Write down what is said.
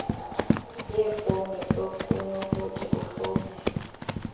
yefowuni ekunokuthi kufowunelwe